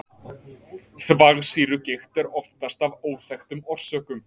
þvagsýrugigt er oftast af óþekktum orsökum